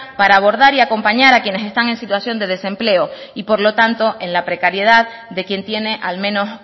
para abordar y acompañar a quienes están en situación de desempleo y por lo tanto en la precariedad de quien tiene al menos